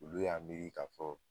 Olu y'a miiri ka fɔ.